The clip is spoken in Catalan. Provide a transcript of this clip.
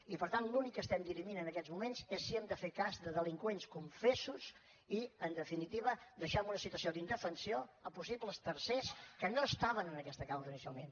i per tant l’únic que estem dirimint en aquests moments és si hem de fer cas de delinqüents confessos i en definitiva deixar en un situació d’indefensió possibles tercers que no estaven en aquesta causa inicialment